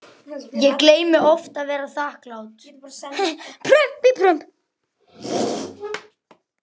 Ég gleymi oft að vera þakklát